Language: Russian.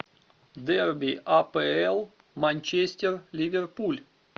дерби апл манчестер ливерпуль